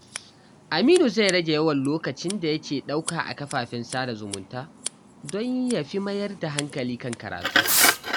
Aminu zai rage yawan lokacin da yake ɗauka a kafafen sada zumunta don ya fi mayar da hankali kan karatu.